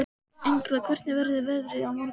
Engla, hvernig verður veðrið á morgun?